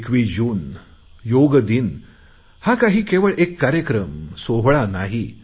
21 जून योगदिन हा काही केवळ एक कार्यक्रम सोहळा नाही